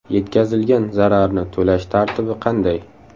Yetkazilgan zararni to‘lash tartibi qanday?